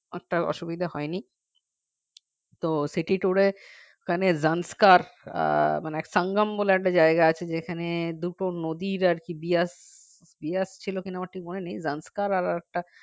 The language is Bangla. একটা অসুবিধা হয়নি তো city tour এ ওখানে Transcar আহ মানে সঙ্গম বলেএকটা জায়গা আছে যেখানে দুটো নদীর আর কি দিয়াস দিয়াস ছিল কি না আমার ঠিক মনে নেই Transcar আরেকটা